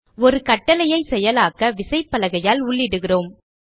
ஒரு கட்டளையை செயலாக்க விசைப்பலகையால் உள்ளிடுகிறோம்